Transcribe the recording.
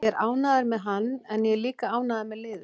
Ég er ánægður með hann en ég er líka ánægður með liðið.